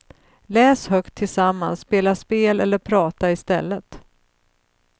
Läs högt tillsammans, spela spel eller prata i stället.